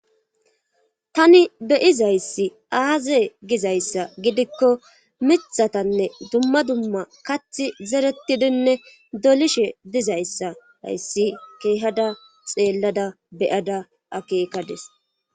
tani beyizayssi aaze gizayssa gidikko mithatanne dumma dumma kathi zeretidinne dolishe dizayssa hayssi keehada xeellada beyada akeekades